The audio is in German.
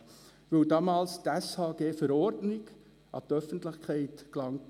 Das habe ich damals dem Grossen Rat auch gesagt.